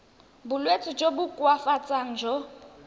bolwetsi jo bo koafatsang jo